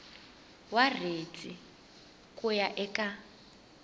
wa riendli ku ya eka